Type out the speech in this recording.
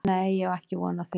Nei ég á ekki von á því.